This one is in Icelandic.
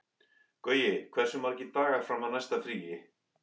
Gaui, hversu margir dagar fram að næsta fríi?